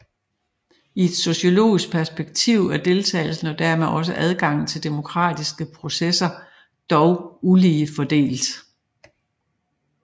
I et sociologisk perspektiv er deltagelsen og dermed også adgangen til demokratiske processer dog ulige fordelt